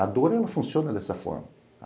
A dor, ela funciona dessa forma.